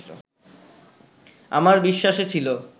আমার বিশ্বাসে ছিল